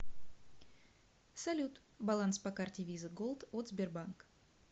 салют баланс по карте виза голд от сбербанк